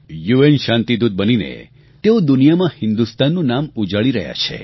UN શાંતિદૂત બનીને તેઓ દુનિયામાં હિન્દુસ્તાનનું નામ ઉજાળી રહ્યા છે